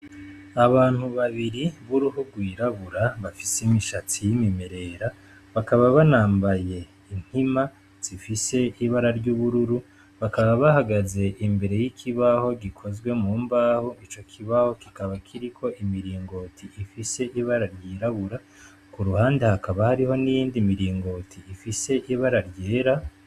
Abantu babiri buruhu rwirabura bafise imishatsi y'imimerera bakaba banambaye inkima zifise ibara ry'ubururu, bakaba bahagaze imbere y'ikibaho gikozwe mu mbaho, ico kibaho kikaba kiriko imiringoti ifise ibara ryirabura, ku ruhande hakaba hariho n'iyindi miringoti ifise ibara ryera.